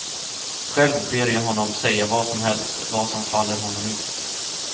Själv ber jag honom säga vad som helst, vad som faller honom in.